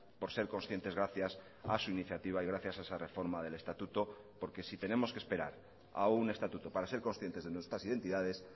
por ser conscientes gracias a su iniciativa y gracias a esa reforma del estatuto porque si tenemos que esperar a un estatuto para ser conscientes de nuestras identidades